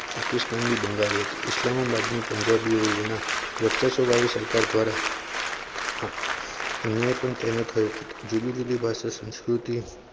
પાકિસ્તાનની બંગાળી હતી. ઇસ્લામા બાદના પંજાબ યોના વર્ચસ્વવાળી સરકાર દ્વારા અન્યાય પણ તેનો થયો હતો જુદી જુદી ભાષાના સંસ્કૃતિ